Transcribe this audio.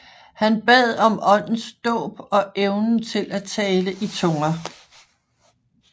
Han bad om Åndens dåb og evnen til at tale i tunger